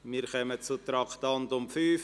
Wir kommen zum Traktandum 5.